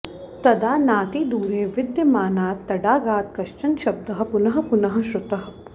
तदा नातिदूरे विद्यमानात् तडागात् कश्चन शब्दः पुनः पुनः श्रुतः